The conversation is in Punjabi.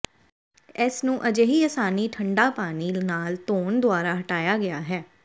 ਇਸ ਨੂੰ ਅਜਿਹੀ ਆਸਾਨੀ ਠੰਡਾ ਪਾਣੀ ਨਾਲ ਧੋਣ ਦੁਆਰਾ ਹਟਾਇਆ ਗਿਆ ਹੈ